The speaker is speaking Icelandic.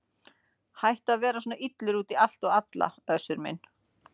Hættu að vera svona illur út í allt og alla Össur minn.